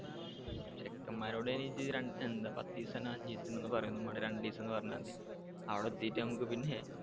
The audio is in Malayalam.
ചെക്കെന്മാരോട് അയിനിജ്ജ് രൺഎന്താ പത്തീസാ അഞ്ചീസതിന ന്നൊന്ന് പറയൊന്നും വേണ്ട രണ്ടീസംന്ന് പറഞ്ഞാ മതി അവിടെ എത്തിട്ട് നമക്ക് പിന്നെ